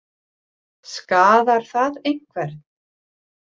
Skaðar það einhvern?